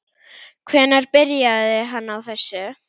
Hvenær byrjaði hann á þessu?